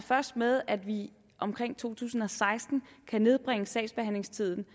først med at vi omkring to tusind og seksten kan nedbringe sagsbehandlingstiden